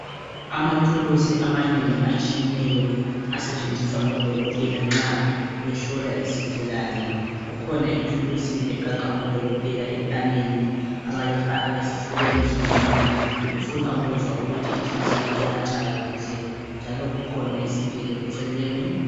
Amathulusi amanengi atshiyeneyo asetshenziswa ngodokotela nxa behlola izigulane. Kukhona ithulusi egaxwa ngodokotela entanyeni abayifaka esifubeni somuntu befuna ukuthi inhliziyo iyatshaya kuhle njalo kukhona isigelo eceleni.